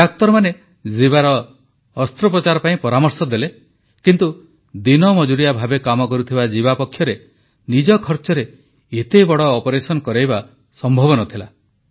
ଡାକ୍ତରମାନେ ଜୀବାର ଅସ୍ତ୍ରୋପଚାର ପାଇଁ ପରାମର୍ଶ ଦେଲେ କିନ୍ତୁ ଦିନମଜୁରିଆ ଭାବେ କାମ କରୁଥିବା ଜୀବା ପକ୍ଷରେ ନିଜ ଖର୍ଚ୍ଚରେ ଏତେବଡ଼ ଅପରେସନ କରାଇବା ସମ୍ଭବ ନ ଥିଲା